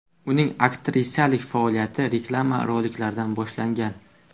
Uning aktrisalik faoliyati reklama roliklaridan boshlangan.